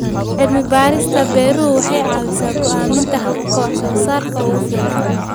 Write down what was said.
Cilmi-baarista beeruhu waxay caawisaa go'aaminta hababka wax-soo-saarka ugu fiican.